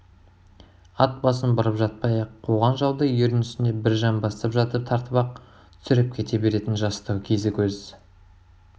ат басын бұрып жатпай-ақ куған жауды ердің үстінде бір жамбастап жатып тартып-ақ түсіріп кете беретін жастау кезі көз